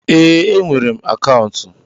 Ee, enwere m akaụntụ.